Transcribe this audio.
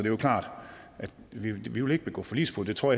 er klart at vi ikke vil begå forligsbrud det tror